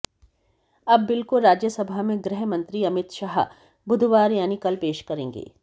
अब बिल को राज्यसभा में गृहमंत्री अमित शाह बुधवार यानि कल पेश करेंगे